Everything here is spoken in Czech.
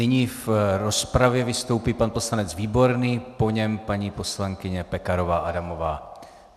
Nyní v rozpravě vystoupí pan poslanec Výborný, po něm paní poslankyně Pekarová Adamová.